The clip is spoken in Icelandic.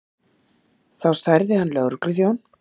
Þá særði hann lögregluþjón